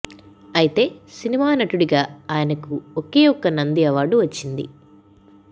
అయితే సినిమా నటుడిగా ఆయనకు ఒకే ఒక నంది అవార్డు వచ్చింది